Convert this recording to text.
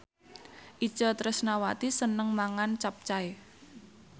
Itje Tresnawati seneng mangan capcay